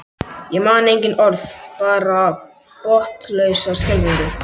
Ég man engin orð, bara botnlausa skelfingu.